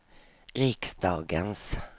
riksdagens